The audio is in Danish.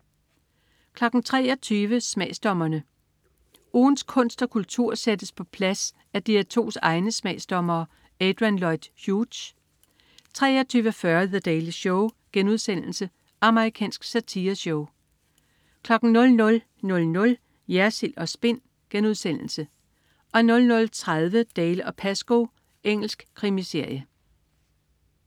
23.00 Smagsdommerne. Ugens kunst og kultur sættes på plads af DR2's egne smagsdommere. Adrian Lloyd Hughes 23.40 The Daily Show.* Amerikansk satireshow 00.00 Jersild & Spin* 00.30 Dalziel & Pascoe. Engelsk krimiserie